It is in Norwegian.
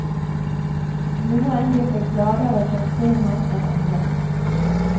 Noen virket gladere for å se ham enn andre.